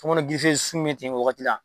tɔmɔnɔ sun bɛ ten wagati la